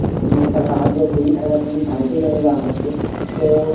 তুমি এফালে অহা যোৱা কৰি থাকে তুমি ভালকে জানিবা আমাতকে, তʼ